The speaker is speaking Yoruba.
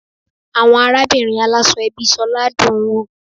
Àwọn arábìnrin aláṣọ ẹbí Sola dùn-ún wò.